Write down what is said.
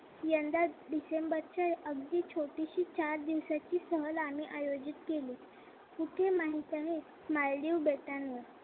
यंदा डिसेंबरच्या अगदी छोटीशी चार दिवसाची सहल आम्ही आयोजित केली. कुठे माहित आहे? मालदीव बेटांवर.